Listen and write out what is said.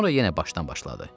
Sonra yenə başdan başladı.